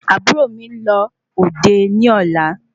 Àbúrò mi nlọ òde ní ọlá